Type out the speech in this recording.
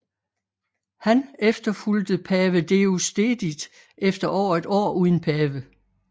Han efterfulgte pave Deusdedit efter over et år uden pave